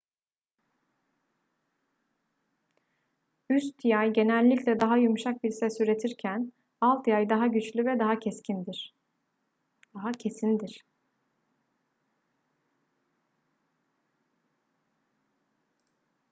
üst yay genellikle daha yumuşak bir ses üretirken alt yay daha güçlü ve daha kesindir